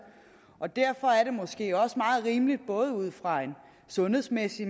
og derfor er det måske også meget rimeligt både ud fra en sundhedsmæssig